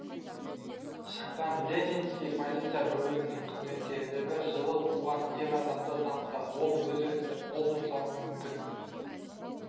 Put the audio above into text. шыққан ленинский полиция бөлімінің қызметкерлері жылы туған ер адамды тапты ол өз-өзіне қол жұмсауы мүмкін